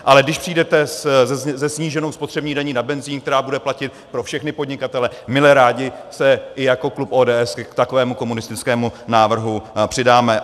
Ale když přijdete se sníženou spotřební daní na benzin, která bude platit pro všechny podnikatele, mile rádi se i jako klub ODS k takovému komunistickému návrhu přidáme.